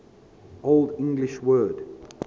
old english word